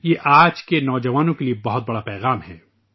یہ آج کے نوجوانوں کے لیے بہت بڑا پیغام ہے